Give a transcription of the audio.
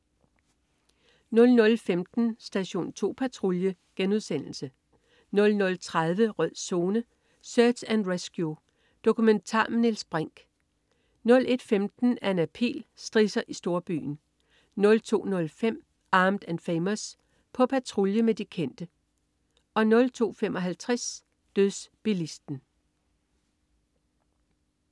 00.15 Station 2 Patrulje* 00.30 Rød Zone: Search and Rescue. Dokumentar med Niels Brinch 01.15 Anna Pihl. Strisser i storbyen 02.05 Armed & Famous. På patrulje med de kendte 02.55 Dødsbilisten